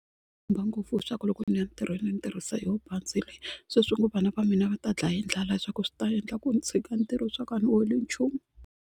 khumba ngopfu hi swa ku loko ni ya ntirhweni ni tirhisa yoho bazi leyi se swi ngo vana va mina va ta dlaya hi ndlala leswaku swi ta endla ku ni tshika ntirho swa ku a ni holi nchumu.